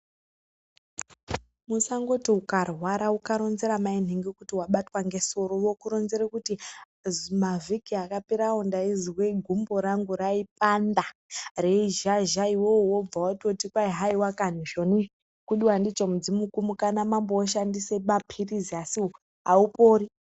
Musangoti mukarwara uka oronzera maningi kuti wabatwa ngesoro vokuronzera kuti mavhiki akapera awo ndainzwa gumbo rangu raipanda reizhazha iwewe wo bva watoti hayiwa kani izvoni kudiwa ndicho mudzimu kumuka namambo woshandisa mapilizi asiwo aupori.